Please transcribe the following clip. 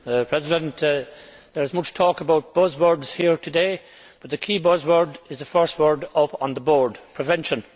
Mr President, there is much talk about buzz words here today, but the key buzz word is the first word up on the board prevention.